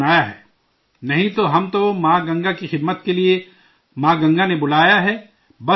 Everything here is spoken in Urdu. نہیں تو، ہم تو ماں گنگا کی خدمت کے لیے، ماں گنگا نے بلایا ہے، بس، اور کچھ نہیں